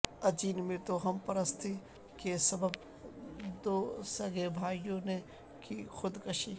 اجین میں توہم پرستی کے سبب دوسگے بھائیوں نے کی خودکشی